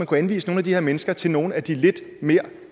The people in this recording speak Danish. kunne anvise nogle af de her mennesker til nogle af de lidt mere